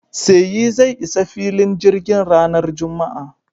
Seyi zai isa filin jirgin ranar Juma'a.